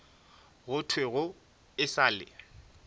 go thwego e sa le